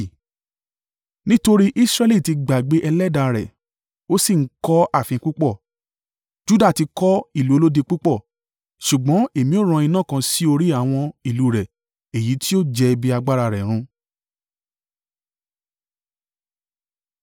Nítorí Israẹli ti gbàgbé ẹlẹ́dàá rẹ̀ Ó sì ń kọ́ ààfin púpọ̀ Juda ti kọ́ ìlú olódi púpọ̀ ṣùgbọ́n èmi ó rán iná kan sí orí àwọn ìlú rẹ̀ èyí tí yóò jẹ ibi agbára rẹ̀ run.”